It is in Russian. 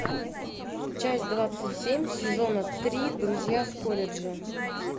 часть двадцать семь сезона три друзья с колледжа